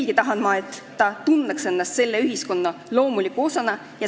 Ma tahan, et ta tunneks ennast selle ühiskonna loomuliku osana.